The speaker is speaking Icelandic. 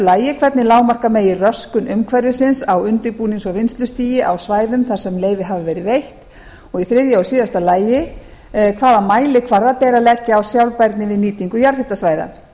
annars hvernig lágmarka megi röskun umhverfis á undirbúnings og vinnslustigi á svæðum þar sem leyfi hafa verið veitt þriðja hvaða mælikvarða beri að leggja á sjálfbærni við nýtingu jarðhitasvæða